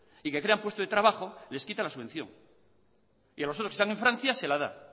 y que crean puestos de trabajo les quitan la subvención y a los otros que están en francia se la da